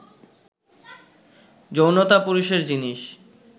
যৌনতা পুরুষের জিনিস